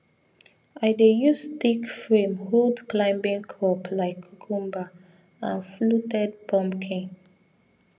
i dey use stick frame hold climbing crop like cucumber and fluted pumpkin